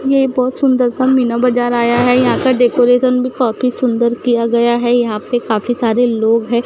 ये बहुत सुंदर सा मीना बाजार आया है यहां का डेकोरेशन भी काफी सुंदर किया गया है यहां पे काफी सारे लोग है।